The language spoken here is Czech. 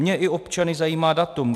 Mě i občany zajímá datum.